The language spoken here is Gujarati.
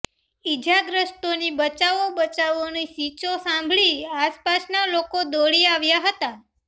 ઇજાગ્રસ્તોની બચાવો બચાવોની ચીસો સાંભળી આસપાસના લોકો દોડી આવ્યા હતા